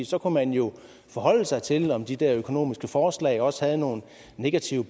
så kunne man jo forholde sig til om de der økonomiske forslag også havde nogle negative